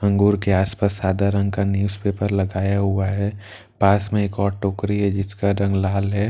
अंगूर के आस-पास सादा रंग का न्‍यूज पेपर लगाया हुआ है पास में एक और टोकरी है जिसका रंग लाल है।